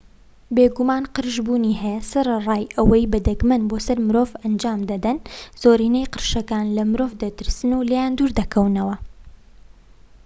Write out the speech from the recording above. بێگومان قرش بوونی هەیە سەرەڕای ئەوەش بە دەگمەن بۆ سەر مرۆڤ ئەنجام دەدەن زۆرینەی قرشەکان لە مرۆڤ دەترسن و لێیان دوور دەکەونەوە